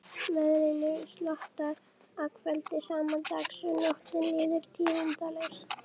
Keisaraynjan segir hann til ábendingar, drekkur vín